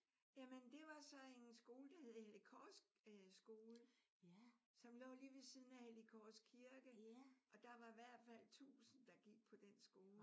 Jamen det var så en skole der hed Hellig Kors øh Skole som lå lige ved siden af Hellig Kors Kirke. Og der var i hvert fald 1000 der gik på den skole